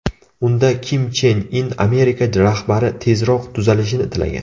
Unda Kim Chen In Amerika rahbari tezroq tuzalishini tilagan.